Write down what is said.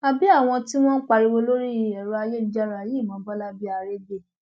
àbí àwọn tí wọn ń pariwo lórí ẹrọ ayélujára yìí mọ bọlá bíi aregbe